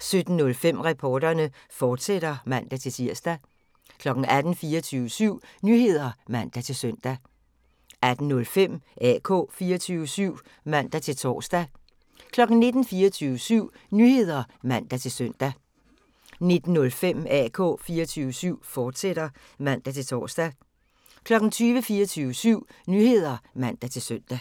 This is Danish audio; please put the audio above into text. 17:05: Reporterne, fortsat (man-tir) 18:00: 24syv Nyheder (man-søn) 18:05: AK 24syv (man-tor) 19:00: 24syv Nyheder (man-søn) 19:05: AK 24syv, fortsat (man-tor) 20:00: 24syv Nyheder (man-søn)